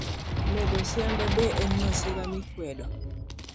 Medo sianda: be en masira mikwedo?